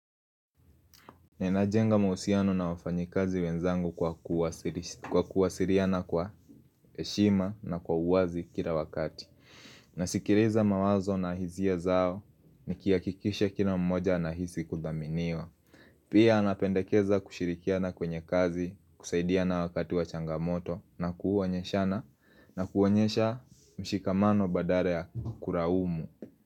Ninajenga mahusiano na wafanyi kazi wenzangu kwa kuwasiliana kwa heshima na kwa uwazi kila wakati nasikiliza mawazo na hisia zao nikihakikisha kila mmoja anahisi kudaminiwa Pia napendekeza kushirikiana kwenye kazi kusaidiana wakati wa changamoto na kuonyeshana na kuonyesha mshikamano badala ya kulaumu.